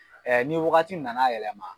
ni wagati nana yɛlɛma.